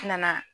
N nana